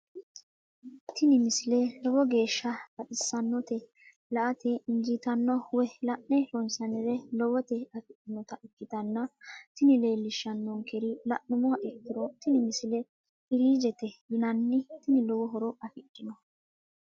tini misile lowo geeshsha baxissannote la"ate injiitanno woy la'ne ronsannire lowote afidhinota ikkitanna tini leellishshannonkeri la'nummoha ikkiro tini misile firiizhete yinanni tini lowo horo afidhino.